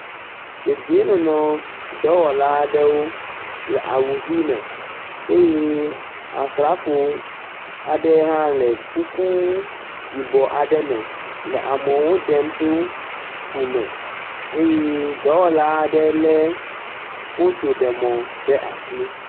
Dedienɔnɔ dɔwɔla aɖewo le awu ʋii me eye Asrafo aɖe hã le kuku yibɔ aɖe me le amewo ɖem tso fume. Eye dɔwɔla aɖe lé fotoɖemɔ ɖe asi.